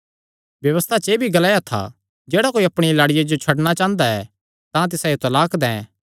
व्यबस्था च एह़ भी ग्लाया था जेह्ड़ा कोई अपणिया लाड़िया जो छड्डणा चांह़दा तां तिसायो तलाक दैं